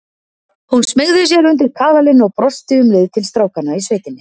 Hún smeygði sér undir kaðalinn og brosti um leið til strákanna í sveitinni.